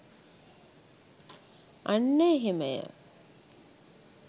අන්න එහෙමය.